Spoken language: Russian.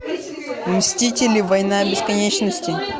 мстители война бесконечности